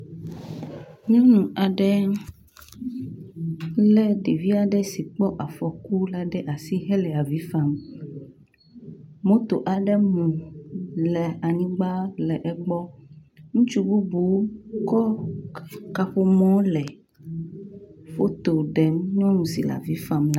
nyɔnu aɖe le ɖeviaɖe sike kpɔ afɔku la ɖe asi hele avifam moto aɖe mu le anyigbã le.egbɔ ŋutsu bubu kɔ kaƒomɔ le fotoɖem nyɔnu si la avifam